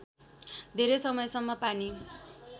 धेरै समयसम्म पानी